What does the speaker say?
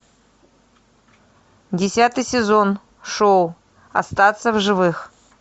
десятый сезон шоу остаться в живых